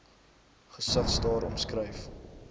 gesig staar omskryf